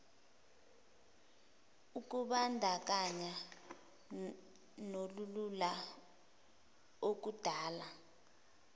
ukubandakanya nolulula okudala